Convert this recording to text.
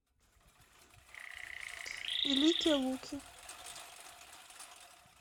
великие луки